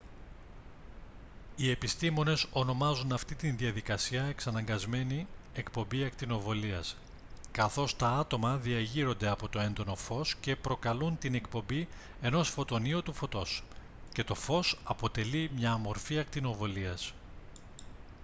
οι επιστήμονες ονομάζουν αυτή την διαδικασία «εξαναγκασμένη εκπομπή ακτινοβολίας» καθώς τα άτομα διεγείρονται από το έντονο φως και προκαλούν την εκπομπή ενός φωτονίου του φωτός και το φως αποτελεί μια μορφή ακτινοβολίας